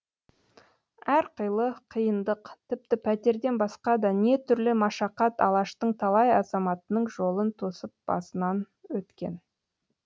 әрқилы қиындық тіпті пәтерден басқа да не түрлі машақат алаштың талай азаматының жолын тосып басынан өткен